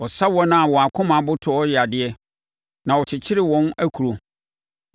Ɔsa wɔn a wɔn akoma abotoɔ yadeɛ na ɔkyekyere wɔn akuro.